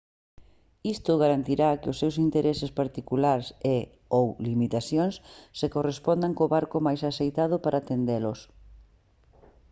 isto garantirá que os seus intereses particulares e/ou limitacións se correspondan co barco máis axeitado para atendelos